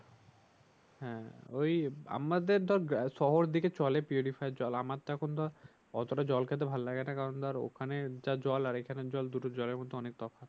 হ্যাঁ ঐ আমাদের ধর শহর দিকে চলে জল আমারটা এখন তো অতটা জল খেতে ভালো লাগে না কারণ ধর ওখানের যে জল এখানের জল দুটো জলের মধ্যে অনেক তফাৎ